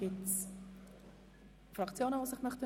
Gibt es Fraktionen, die sich dazu äussern möchten?